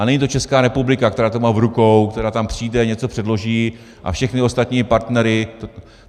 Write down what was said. A není to Česká republika, která to má v rukou, která tam přijde, něco předloží a všechny ostatní partnery...